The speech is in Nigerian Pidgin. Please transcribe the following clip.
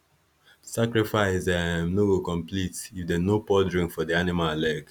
sacrifice um no go complete if them no pour drink for the animal leg